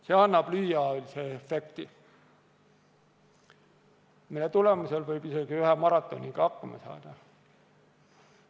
See annab lühiajalise efekti, mille tulemusel võib isegi ühe maratoniga hakkama saada.